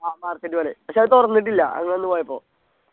ആ market പോലെ പക്ഷെ അത് തുറന്നിട്ടില്ല ഞങ്ങ അന്ന് പോയപ്പോ